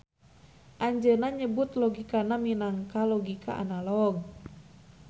Anjeuna nyebut logikana minangka logika analog.